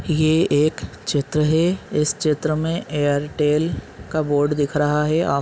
ये एक चित्र है इस चित्र मे एयरटेल का बोर्ड दिख रहा है।